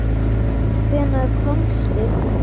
Hvenær komstu?